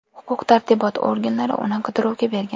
Huquq-tartibot organlari uni qidiruvga bergan.